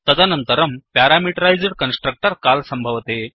तदनन्तरं parameterised constructor call सम्भवति